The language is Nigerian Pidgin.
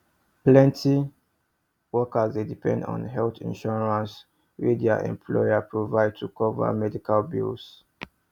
plenty workers dey depend on health insurance wey dia employer provide to cover medical bills